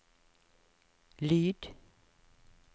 lyd